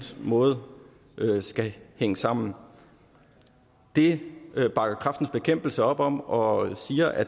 måde skal hænge sammen det bakker kræftens bekæmpelse op om og siger at